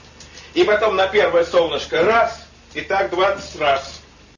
и потом на первое солнышко раз и так двадцать раз